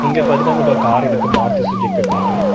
இங்க பாத்தின்ன கார் இருக்கு மாருதி சுஜிக்கு காரு .